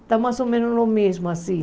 Está mais ou menos o mesmo assim.